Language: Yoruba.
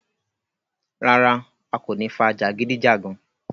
Rárá, a kò ní fà jagidijagan.